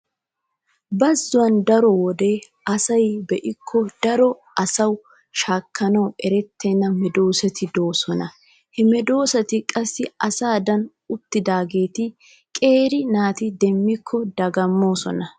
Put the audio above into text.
Bazzon daro wode asay be'ikko daro asawu shaakkanawu erettenna medoosati de'oosona. He medoosati qassi asadan uttidaageeta qeeri naati demmikko dagammoosona.